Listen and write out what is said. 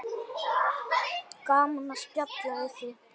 Gaman að spjalla við þig.